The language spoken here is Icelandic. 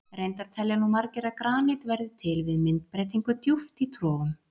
Reyndar telja nú margir að granít verði til við myndbreytingu djúpt í trogum.